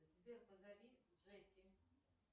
сбер позови джесси